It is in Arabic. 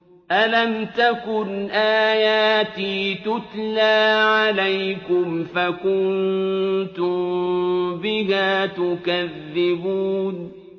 أَلَمْ تَكُنْ آيَاتِي تُتْلَىٰ عَلَيْكُمْ فَكُنتُم بِهَا تُكَذِّبُونَ